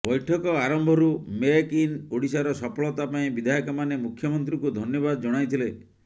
ବୈଠକ ଆରମ୍ଭରୁ make in ଓଡ଼ିଶାର ସଫଳତା ପାଇଁ ବିଧାୟକମାନେ ମୁଖ୍ୟମନ୍ତ୍ରୀଙ୍କୁ ଧନ୍ୟବାଦ ଜଣାଇଥିଲେ